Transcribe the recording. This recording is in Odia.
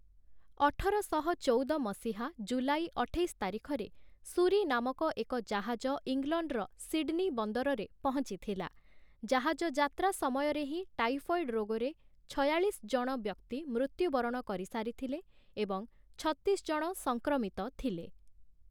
ଅଠରଶହ ଚଉଦ ମସିହା ଜୁଲାଇ ଅଠେଇଶ ତାରିଖରେ 'ସୁରି' ନାମକ ଏକ ଜାହାଜ ଇଂଲଣ୍ଡର ସିଡ଼୍‌ନୀ ବନ୍ଦରରେ ପହଞ୍ଚିଥିଲା । ଜାହାଜଯାତ୍ରା ସମୟରେ ହିଁ ଟାଇଫଏଡ୍‌ ରୋଗରେ ଛୟାଳିଶଜଣ ବ୍ୟକ୍ତି ମୃତ୍ୟୁବରଣ କରିସାରିଥିଲେ ଏବଂ ଛତିଶ ଜଣ ସଂକ୍ରମିତ ଥିଲେ ।